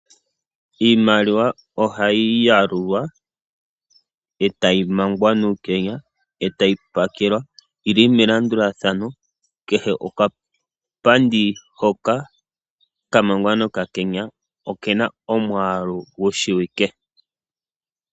Iimaliwa oha yi yalulwa, e ta yi mangwa nuukenya, e ta yi pakelwa melandulathano. Kehe okapandi hoka ka mangwa nokakenya, oke na omwaalu gu shiwike.